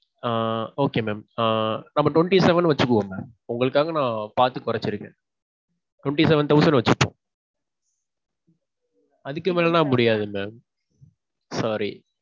ஆஹ் Okay mam. ஆஹ் நம்ம twenty seven வச்சுக்குவோம் mam. உங்களுக்காக நான் பாத்து கொறச்சிருக்கேன். twenty seven thousand வச்சிப்போம். அதுக்கு மேலனா முடியாது mam. Sorry.